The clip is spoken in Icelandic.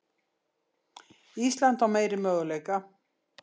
Ísland á meiri möguleika